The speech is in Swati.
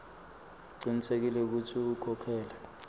ucinisekise kutsi ukhokhela